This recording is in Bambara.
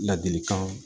Ladilikan